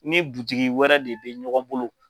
Ni wɛrɛ de bɛ ɲɔgɔn bolo.